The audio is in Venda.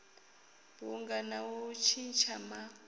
bunga na u tshintsha ma